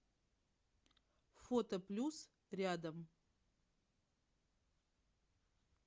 фото плюс рядом